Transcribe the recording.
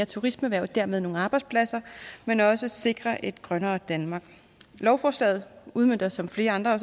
turismeerhvervet og dermed skabe nogle arbejdspladser men også sikre et grønnere danmark lovforslaget udmønter som flere andre